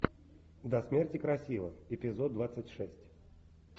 до смерти красива эпизод двадцать шесть